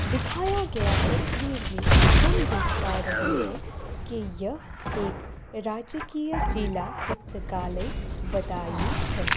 दिखाया गया तस्वीर में हम देख पा रहे हैं कि यह एक राजकीय जिला पुस्तकालय बदायूँ है।